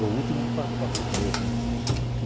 Do último para primeiro, né?